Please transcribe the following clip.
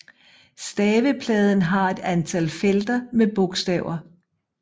Stavepladen har et antal felter med bogstaver